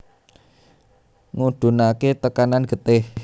Ngudunake tekanan getih